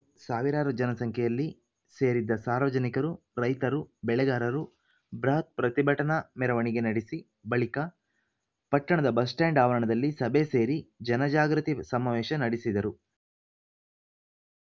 ಸಾವಿರಾರು ಜನ ಸಂಖ್ಯೆಯಲ್ಲಿ ಸೇರಿದ್ದ ಸಾರ್ವಜನಿಕರು ರೈತರು ಬೆಳೆಗಾರರು ಬೃಹತ್‌ ಪ್ರತಿಭಟನಾ ಮೆರವಣಿಗೆ ನಡಿಸಿ ಬಳಿಕ ಪಟ್ಟಣದ ಬಸ್‌ಸ್ಟ್ರ್ಯಾಂಡ್‌ ಆವರಣದಲ್ಲಿ ಸಭೆ ಸೇರಿ ಜನಜಾಗೃತಿ ಸಮಾವೇಶ ನಡೆಸಿದರು